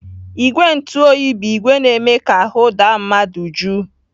Igwe ntụoyi bụ ìgwè na-eme ka ahụ daa mmadụ jụụ.